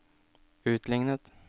utlignet